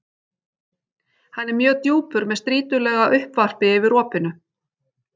Hann er mjög djúpur með strýtulaga uppvarpi yfir opinu.